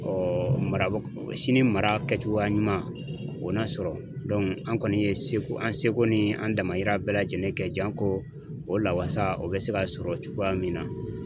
mara sini mara kɛcogoya ɲuman o na sɔrɔ an kɔni ye seko an seko ni an damayira bɛɛ lajɛlen kɛ janko o la wasa o bɛ se ka sɔrɔ cogoya min na